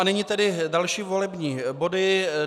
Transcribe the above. A nyní tedy další volební body.